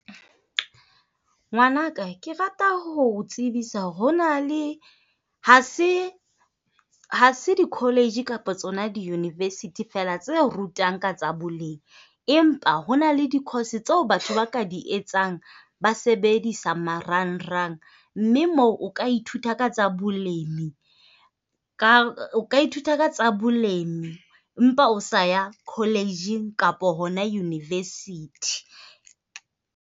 Ngwanaka, ke rata ho tsebisa hore ho na le ha se di-college kapa tsona di-university fela tse rutang ka tsa boleng, empa ho na le di-course tseo batho ba ka di etsang ba sebedisa marangrang. Mme moo o ka ithuta ka tsa bolemi, ka ithuta ka tsa bolemi, empa o sa ya college kapa hona university.